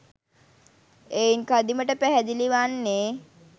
එයින් කදිමට පැහැදිලි වන්නේ